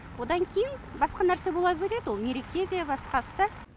одан кейін басқа нәрсе бола береді ол мереке де басқасы да